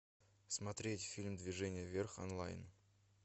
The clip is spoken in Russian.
смотреть фильм движение вверх онлайн